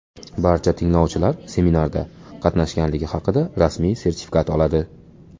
Barcha tinglovchilar seminarda qatnashganligi haqida rasmiy sertifikat oladi.